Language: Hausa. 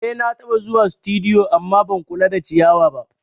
Eh nataba zuwa situdiyu amma ban kula da ciyawa ba